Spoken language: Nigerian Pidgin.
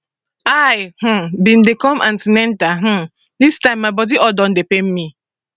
i um bin dey come an ten atal um dis time my body all don dey pain me